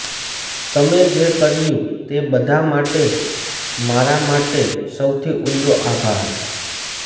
તમે જે કર્યું તે બધા માટે મારા માટે સૌથી ઊંડો આભાર